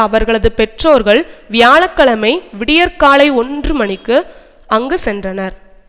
அவர்களது பெற்றோர்கள் வியாழ கிழமை விடியற் காலை ஒன்று மணிக்கு அங்கு சென்றனர்